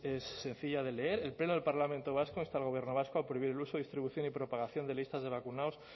es sencilla de leer el pleno del parlamento vasco insta al gobierno vasco a prohibir el uso distribución y propagación de listas de vacunados